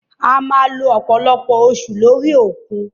A máa lo ọ̀pọ̀lọpọ̀ oṣù lórí òkun.